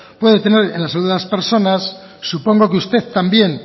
puede tener en la salud de las personas supongo que usted también